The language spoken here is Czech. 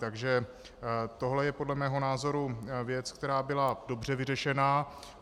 Takže tohle je podle mého názoru věc, která byla dobře vyřešená.